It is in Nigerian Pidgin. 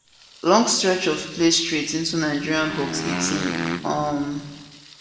long stretch of play straight into nigeria box 18 um